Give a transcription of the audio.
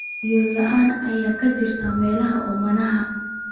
biyo la'aan ka jirta meelaha oomanaha ah.